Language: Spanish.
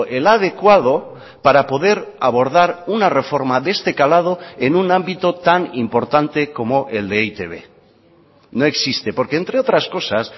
el adecuado para poder abordar una reforma de este calado en un ámbito tan importante como el de e i te be no existe porque entre otras cosas